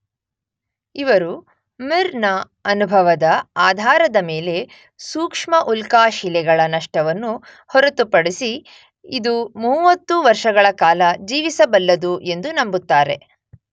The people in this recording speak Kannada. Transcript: ಇವರು ಮಿರ್ ನ ಅನುಭವದ ಆಧಾರದ ಮೇಲೆ ಸೂಕ್ಷ್ಮ ಉಲ್ಕಾಶಿಲೆಗಳ ನಷ್ಟವನ್ನು ಹೊರತುಪಡಿಸಿ ಇದು ಮೂವತ್ತು ವರ್ಷಗಳ ಕಾಲ ಜೀವಿಸಬಲ್ಲದು ಎಂದು ನಂಬುತ್ತಾರೆ.